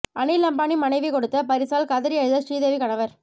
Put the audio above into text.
அனில் அம்பானி மனைவி கொடுத்த பரிசால் கதறி அழுத ஸ்ரீதேவி கணவர்